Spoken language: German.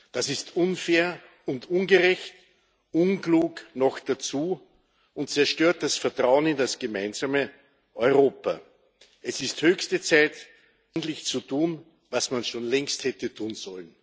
Das ist unfair und ungerecht, unklug noch dazu, und es zerstört das Vertrauen in das gemeinsame Europa. Es ist höchste Zeit, endlich das zu tun, was man schon längst hätte tun sollen.